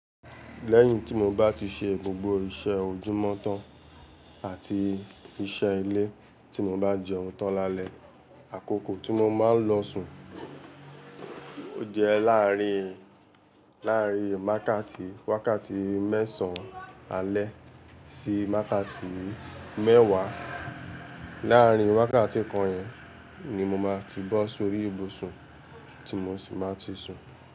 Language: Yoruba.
Lẹ́yìn tí mo bá ti ṣe gbogbo iṣẹ́ ojúmọ́tọ́ àti iṣẹ́ ilé tí mo bá jẹun tán lálẹ́, àkókò tí mo máa ń lọ sùn ó jẹ́ láàárín, láàárín wákàtí mẹ́sàn-án alẹ́ sí wákàtí mẹ́wàá. Láàárín wákàtí kan yẹn ni mo máa fi bọ́ sórí ibùsùn tí mo sì máa ti sùn.